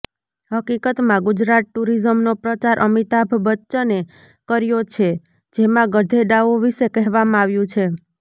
હકીકતમાં ગુજરાત ટુરિઝમનો પ્રચાર અમિતાભ બચ્ચને કર્યો છે જેમાં ગધેડાઓ વિશે કહેવામાં આવ્યું છે